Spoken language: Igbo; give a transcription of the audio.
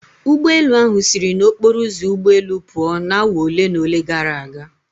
Ụgbọelu ahụ siri n'okporo ụzọ ụgbọelu pụo na awa ole na ole gara aga.